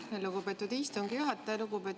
Aitäh, lugupeetud istungi juhataja!